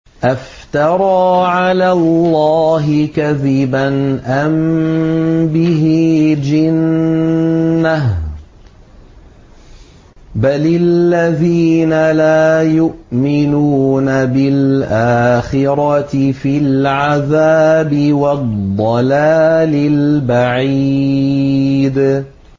أَفْتَرَىٰ عَلَى اللَّهِ كَذِبًا أَم بِهِ جِنَّةٌ ۗ بَلِ الَّذِينَ لَا يُؤْمِنُونَ بِالْآخِرَةِ فِي الْعَذَابِ وَالضَّلَالِ الْبَعِيدِ